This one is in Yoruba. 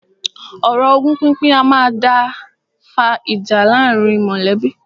Ọ̀rọ̀ ogún pínpín a máa dá fa ìjà láàárín mọ̀lẹ́bí.